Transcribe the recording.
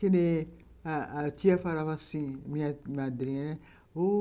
Que nem a tia falava assim, minha madrinha, né? O